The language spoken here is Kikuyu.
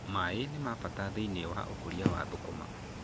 Maaĩ nĩ mabata thĩiniĩ wa ũkũria wa thũkũma